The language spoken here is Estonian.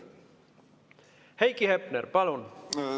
Heiki Hepner, palun!